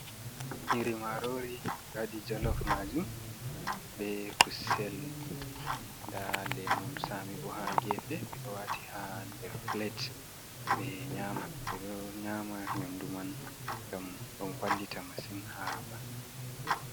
Nyiri marori ɓe waɗi jolof majum be kusel. Nda lemun Sami bo ha gefe ɓeɗo waati ha nder plate be nyaman. Ɓe ɗo nyama nyamdu man ngam ɗo wallita masin ha ɓandu.